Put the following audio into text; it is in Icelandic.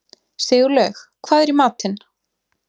Sigurlaug, hvað er í matinn?